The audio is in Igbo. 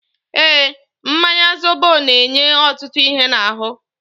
Eeǃ Mmanya zobo na-enye ọtụtụ ihe n'ahụ.